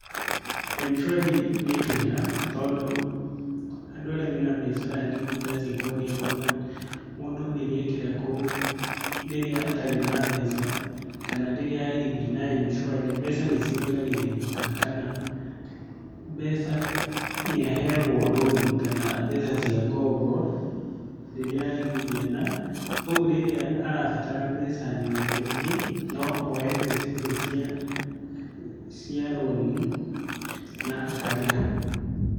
M-Shwari nĩ njega tondũ andũ arĩa mena mbiacara nini ta cia kwendia mboga, mũndũ rĩrĩa ekĩra kũu rĩrĩa atarĩ na mbeca kana rĩrĩa aigithia na M-Swari mbeca nĩ ciongagĩrĩrĩkaga kana mbeca nĩ aheagwo loan kana mbeca cia ngombo rĩrĩa aigithia. Na, ũguo rĩrĩa arabatara mbeca nyingaingĩ, no oe mbeca icio cia loan, na akarĩha thutha-inĩ